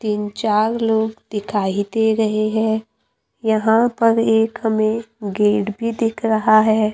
तीन चार लोग दिखाई दे रहे है यहां पर एक हमें गेट भी दिख रहा है।